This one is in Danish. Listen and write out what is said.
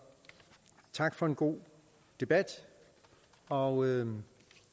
tak for en god debat og